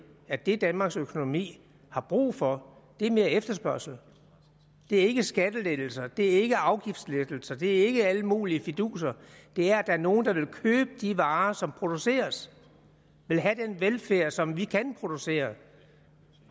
at det danmarks økonomi har brug for er mere efterspørgsel det er ikke skattelettelser det er ikke afgiftslettelser det er ikke alle mulige fiduser det er at der er nogen der vil købe de varer som produceres og vil have den velfærd som vi kan producere